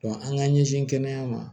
an k'an ɲɛsin kɛnɛya ma